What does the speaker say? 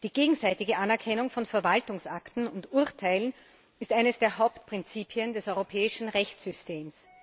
Die gegenseitige Anerkennung von Verwaltungsakten und Urteilen ist eines der Hauptprinzipien des europäischen Rechtssystems.